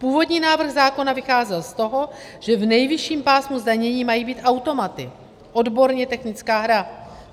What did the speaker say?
Původní návrh zákona vycházel z toho, že v nejvyšším pásmu zdanění mají být automaty - odborně technická hra.